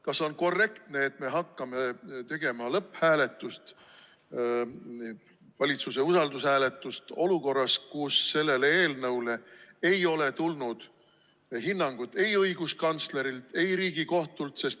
Kas on korrektne, et me hakkame tegema lõpphääletust, valitsuse usaldushääletust, olukorras, kus sellele eelnõule ei ole tulnud hinnangut ei õiguskantslerilt ega Riigikohtult?